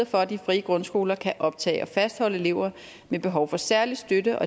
for at de frie grundskoler kan optage og fastholde elever med behov for særlig støtte og